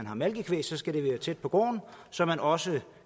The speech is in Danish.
har malkekvæg så skal det være tæt på gården så man også